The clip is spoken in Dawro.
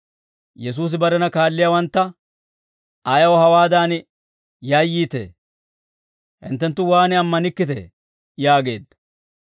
Yesuusi barena kaalliyaawantta «Ayaw hawaadan yayyiitee? Hinttenttu waan ammanikkitee?» yaageedda.